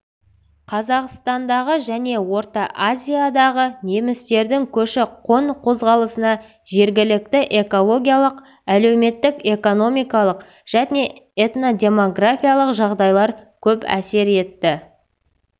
қазақстандағы және орта азиядағы немістердің көші-қон қозғалысына жергілікті экологиялық әлеуметтік-экономикалық және этнодемографиялық жағдайлар көп әсер етті